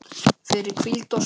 fyrir hvíld og svefn